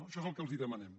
això és el que els demanem